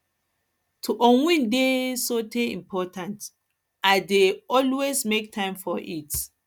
to unwind dey um important i um important i um dey always um make time for it